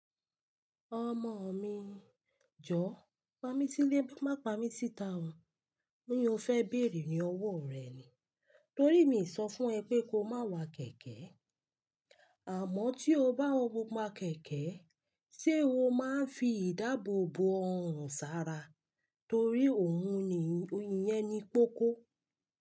Ọmọ mi, Jọ, pa mí sílé má pa mí síta o. Boya ofẹ bẹ̀rù ní ọwọ́ rẹ ni. Torí mi sọ fún ẹ pé ko má wa kẹ̀kẹ́. Àmọ́ tí o bá wa kẹ̀kẹ́, ṣé o máa ń fi ìdáàbò bò ọrùn sára? Torí òun ni iyẹn ni kókó.